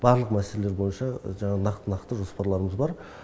барлық мәселелер бойынша жаңағы нақты нақты жоспарларымыз бар